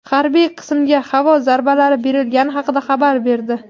harbiy qismga havo zarbalari berilgani haqida xabar berdi.